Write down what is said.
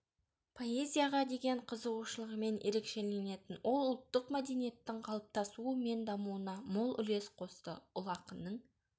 поэзияға деген қызығушылығымен ерекшеленетін ол ұлттық мәдениеттің қалыптасуы мен дамуына мол үлес қосты ұлы ақынның